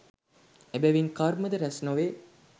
එබැවින් කර්මද රැස් නොවේ